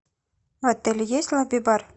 в отеле есть лобби бар